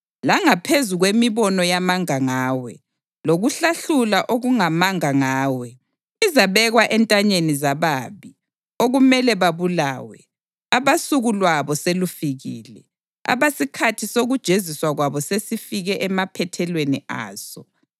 Langaphezu kwemibono yamanga ngawe, lokuhlahlula okungamanga ngawe, izabekwa entanyeni zababi okumele babulawe, abasuku lwabo selufikile, abasikhathi sokujeziswa kwabo sesifike emaphethelweni aso.